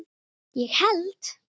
ég held